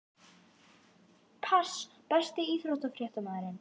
Pass Besti íþróttafréttamaðurinn?